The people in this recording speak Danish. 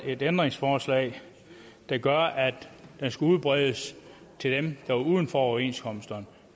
et ændringsforslag der gør at det skal udbredes til dem der er uden for overenskomsterne